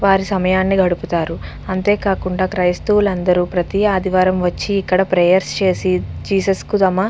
వారి సమయాన్ని గడుపుతారు. అంతేకాకుండా క్రైస్తవులందరూ ప్రతి ఆదివారం వచ్చి ఇక్కడ ప్రేయర్స్ చేసి జీసస్ కు తమ --